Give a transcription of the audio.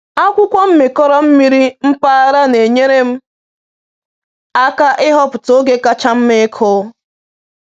Akwụkwọ mmịkọrọ mmiri mpaghara na-enyere m aka ịhọpụta oge kacha mma ịkụ.